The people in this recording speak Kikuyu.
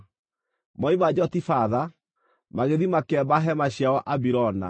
Moima Jotibatha, magĩthiĩ makĩamba hema ciao Abirona.